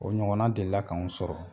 O ɲɔgɔn deli la k'an sɔrɔ.